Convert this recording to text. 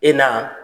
E na